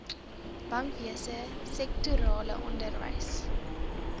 bankwese sektorale onderwys